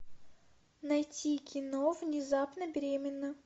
найти кино внезапно беременна